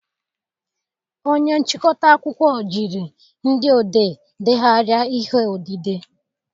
Onye nchịkọta akụkọ jiri ndị odee degharịa ihe odide